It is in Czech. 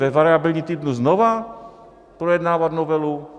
Ve variabilním týdnu znova projednávat novelu?